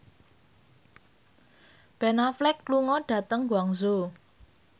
Ben Affleck lunga dhateng Guangzhou